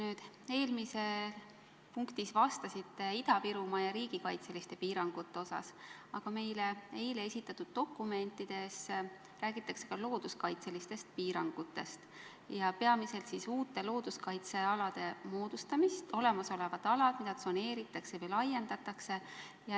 Te eelmises punktis vastasite Ida-Virumaa ja riigikaitseliste piirangute teemal, aga meile eile esitatud dokumentides räägitakse ka looduskaitselistest piirangutest, peamiselt uute looduskaitsealade moodustamisest ning olemasolevate alade tsoneerimisest või laiendamisest.